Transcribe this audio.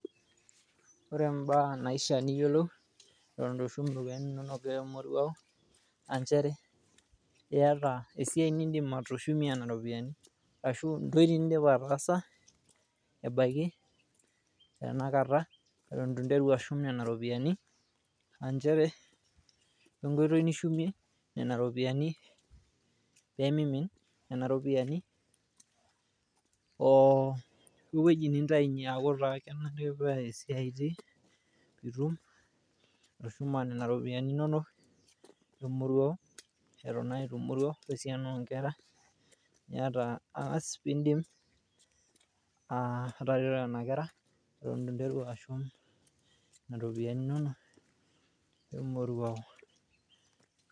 Ore imbaa naaishia niyiolou, eton eitu ishum irropiyiani inonok emoruao naa nchere iyata esiai nidim atushumie nena rropiyiani ashu entoki nidim ataasa ebaiki tenakata eton eitu interu ashum nena ropiyiani. Naa nchere ore enkoitoi nishumie nena ropiyiani pee mimin nena ropiyiani, oo ewueji nitaunyie aaku taa kenare naa esiai itiii pee atushuma nena ropiyiani inonok e moruao. Eton naa itumoruau esiana oo nkera. Niata aas pee idim aa atareto nena kera eton eitu nteru ashum nena ropiyiani inonok e moruao.